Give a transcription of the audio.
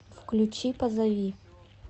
включи позови